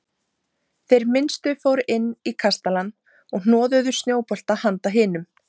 Þeir minnstu fóru inn í kastalann og hnoðuðu snjóbolta handa hinum.